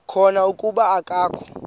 khona kuba akakho